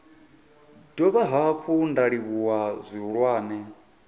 dovha hafhu nda livhuwa zwihulwane